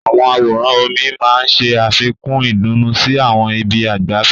Àwọn àwòrán omi máa ń ṣe àfikún ìdùnnú sí àwọn ibi ìgbafẹ́.